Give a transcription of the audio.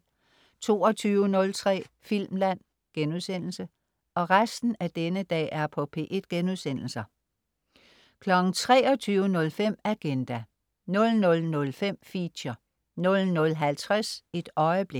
22.03 Filmland* 23.05 Agenda* 00.05 Feature* 00.50 Et øjeblik*